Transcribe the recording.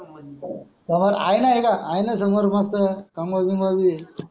सामोर आहे नाही का आहे ना समोर मस्त कम्बल गीम्बल